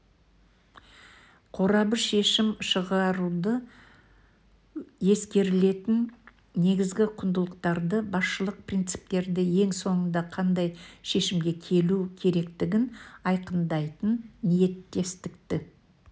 қорабы шешім шығаруда ескерілетін негізгі құндылықтарды басшылық принциптерді ең соңында қандай шешімге келу керектігін айқындайтын ниеттестікті